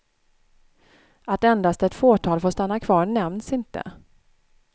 Att endast ett fåtal får stanna kvar nämns inte.